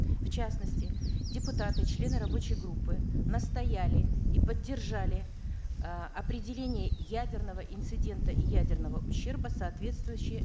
в частности депутаты члены рабочей группы настояли и поддержали э определение ядерного инцидента и ядерного ущерба соответствующее